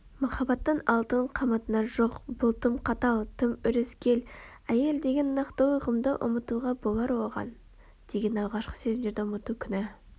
махаббаттың алтын қамытына жоқ бұл тым қатал тым өрескел әйел деген нақтылы ұғымды ұмытуға болар оған деген алғашқы сезімдерді ұмыту күнә